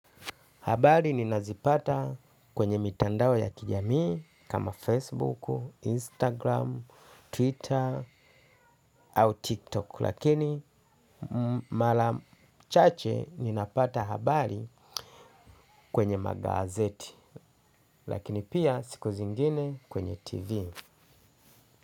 Habari ninazipata kwenye mitandao ya kijamii kama Facebook, Instagram, Twitter au TikTok lakini mara chache ninapata habari kwenye magazeti lakini pia siku zingine kwenye TV.